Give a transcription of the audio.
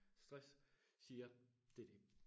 Stress siger det dét